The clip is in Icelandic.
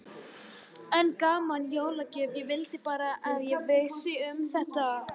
Enn gaman, jólagjöf, ég vildi bara að ég vissi um þetta.